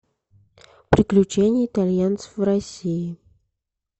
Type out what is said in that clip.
приключения итальянцев в россии